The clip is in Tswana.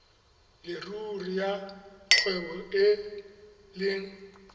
leruri ya kgwebo e leng